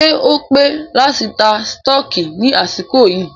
Ṣé o pé láti ta sítọ̀kì ní àsìkò yìí?